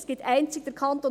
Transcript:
Einzig der Kanton